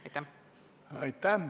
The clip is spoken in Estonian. Aitäh!